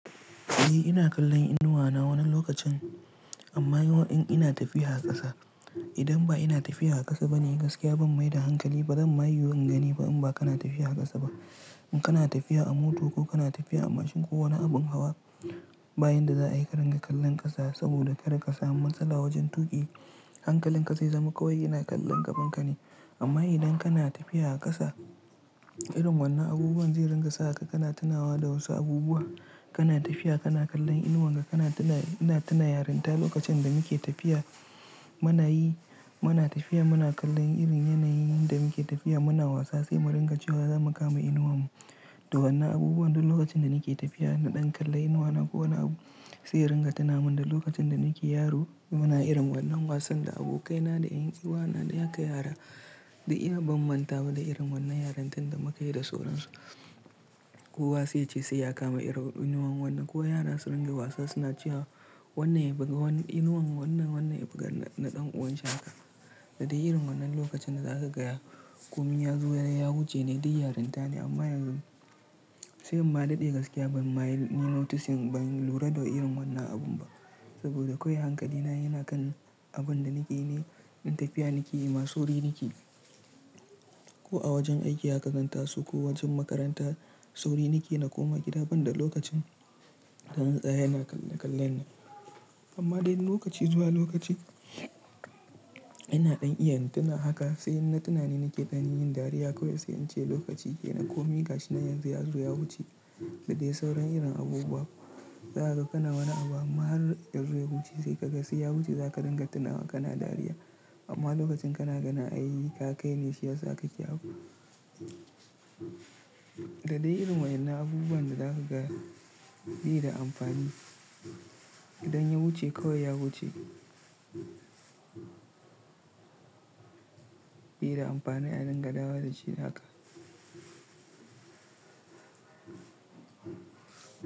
Eh ina kallon inuwa na wani lokacin amma yawan in ina tafiya a ƙasa. Idan ba ina tafiya a ƙasa bane gaskiya ban maida hankali, bazan ma yi wurin gani ba in ba kana tafiya a ƙasa ba. In kana tafiya a mota ko kana tafiya a mashin ko wani abin hawa, bayan da za a yi karen ka kallon ƙasa saboda kar ka samu matsala wajen tuƙi, hankalin ka zai zama kawai ina kallon gaban ka ne. Amma idan kana tafiya a ƙasa, irin wannan abubuwan zai ringa sa ka kana tunawa da wasu abubuwa. Kana tafiya kana kallon inuwan ka kana tuna, ina tuna yarinta lokacin da muke tafiya. Mana yi, muna tafiya muna kallon irin yanayin da muke tafiya muna wasa sai mu ringa cewa za mu kama inuwan mu. Da wannan abubuwan duk lokacin da nake tafiya na ɗan kalla inuwa na ko wani abu sai ringa tuna min da lokacin da nake yaro. Muna irin wannan wasan da abokaina da ƴan uwa na da ƴaƴa ka da ina bamman ta da irin wannan yarantun da muka yi da sauransu. Kuwa sai ce sai ya kama irin inuwan wannan kuwa yana sirin ga wasa suna cewa wannan ya buga wannan inuwan wannan, wannan ya buga na ɗan uwan shi haka. Da dai irin wannan lokacin da zaka gaya komiya zuwa yazo ya wuce ne dai yarinta ne amma yanzu sai ba daɗe gaskiya ban ma yi noticing ban lura da irin wannan abun ba saboda kawai hankali na yana kan abun da nake yi ne, in tafiya nake yi ma sauri nake. Ko a wajen aiki aka ganta su ko wajen makaranta, sauri nake na koma gida ban da lokacin da na tsaye na kalla kallon. Amma dai lokaci zuwa lokaci ina ɗan iya tuna haka sai na tuna ne nake ɗanin yin dariya kawai sai in ce lokaci ke na komi gashi na yanzu ya zo ya wuce da dai sauran irin abubuwa. Zaka ga kana wani abu amma har ya zo ya wuce sai kaga sai ya wuce zaka ringa tunawa kana dariya. Amma lokacin kana gani an yi ka kai ne shi yasa kake abu. Da dai irin waƴannan abubuwan da zaka ga bi da amfani. Idan ya wuce kawai ya wuce. Bi da amfani a ringa dawo da shi haka.